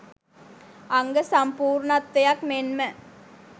අංග සම්පූර්ණත්වයක් මෙන්ම